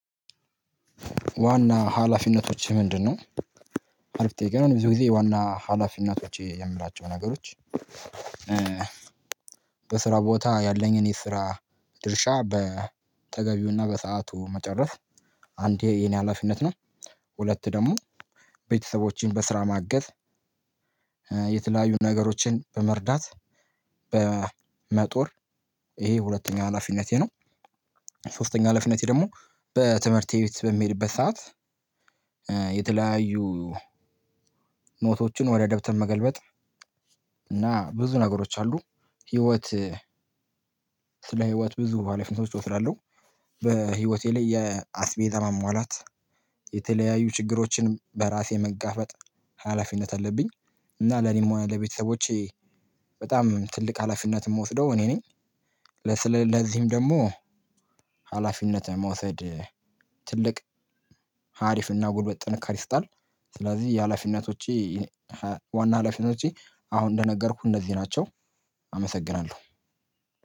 ዋና ሀላፊነቶች ምንድነው? አሪፍ ጥያቄ ነው ብዙ ጊዜ ዋና ሀላፊነቶች የምላቸው ነገሮች በስራ ቦታ ያለኝን የስራ ድርሻ በተገቢውና በሰአቱ መጨረስ አንዴ የኔ ሀላፊነት ነው ሁለት ደግሞ ቤተሰቦቼን በስራ ማገዝ፣ የተለያዩ ነገሮችን በመርዳት፣ በመጦር ይሄ ሁለተኛ ሀላፊነቴ ነው። ሶስተኛው ሀላፊነቴ ደግሞ በትምህርቴ ቤት በሚሄድበት ሰዓት የተለያዩ ኖቶቹን ወደ ደብተር መገልበጥ እና ብዙ ነገሮች አሉ ህይወት ስለ ህይወት ብዙ ሀላፊነቶች እወስዳለሁ። በህይወቴ ላይ የአስቤዛ ማሟላት የተለያዩ ችግሮችን በራሴ መጋፈጥ ሀላፊነት አለብኝ እና ለኔም ወይ ለቤተሰቦቼ በጣም ትልቅ ሀላፊነት የምወስደው እኔ ነኝ ለዚህም ደግሞ ሀላፊነት መውሰድ ትልቅ ሀሪፍና ጉድበት ጥንካሬ ይሰጣል። ስለዚህ የሀላፊነቶቼ ዋና ሀላፊነቶቼ አሁን እንደነገርኩህ እነዚህ ናቸው አመሰግናለሁ።